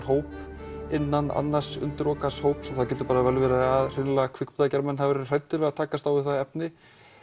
hóp innan annars undirokaðs hóps og það getur vel verið að hreinlega kvikmyndagerðarmenn hafi verið hræddir að takast á við það efni